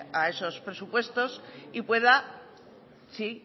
a esos presupuestos y pueda si